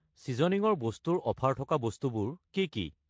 ছিজনিঙৰ বস্তু ৰ অফাৰ থকা বস্তুবোৰ কি কি?